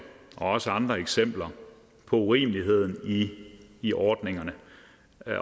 og også andre eksempler på urimeligheden i ordningerne